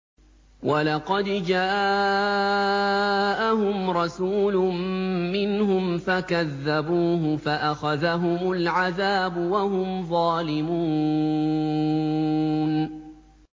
وَلَقَدْ جَاءَهُمْ رَسُولٌ مِّنْهُمْ فَكَذَّبُوهُ فَأَخَذَهُمُ الْعَذَابُ وَهُمْ ظَالِمُونَ